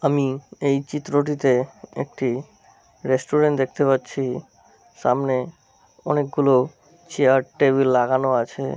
আমি এই চিত্রটিতে একটি রেস্টুরেন্ট দেখতে পাচ্ছি। সামনে অনেক গুলো চেয়ার টেবিল লাগানো আছে ।